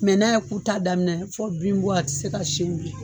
Mɛ n'a ye ku ta daminɛ fɔ bin bɔ a ti se ka sɛn bilen